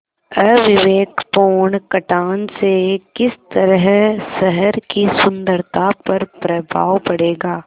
अविवेकपूर्ण कटान से किस तरह शहर की सुन्दरता पर प्रभाव पड़ेगा